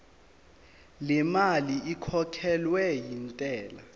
lemali ekhokhelwa intela